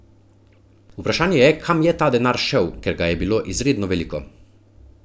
Vprašanje je, kam je ta denar šel, ker ga je bilo izredno veliko.